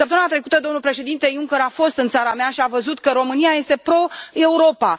Săptămâna trecută domnul președinte Juncker a fost în țara mea și a văzut că România este pro Europa.